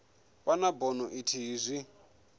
vha na bono ithihi zwi